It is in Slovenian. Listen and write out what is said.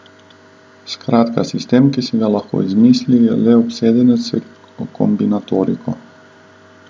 Skratka, sistem, ki si ga lahko izmisli le obsedenec s kombinatoriko.